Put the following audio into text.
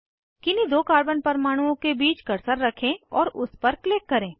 किन्हीं दो कार्बन परमाणुओं के बीच कर्सर रखें और उस पर क्लिक करें